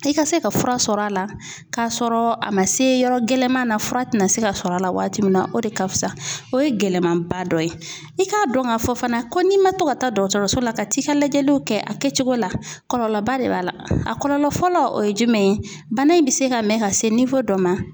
I ka se ka fura sɔrɔ a la k'a sɔrɔ a ma se yɔrɔ gɛlɛnman na fura tɛna se ka sɔrɔ a la waati min na o de ka fusa. O ye gɛlɛmaba dɔ ye; i k'a dɔn ka fɔ fana ko n'i ma to ka taa dɔkɔtɔrɔso la, ka t'i ka layɛliw kɛ, a kɛcogo la; kɔlɔlɔba de b'a la, a kɔlɔlɔ fɔlɔ o ye jumɛn ye, bana in bɛ se ka mɛn ka se dɔ ma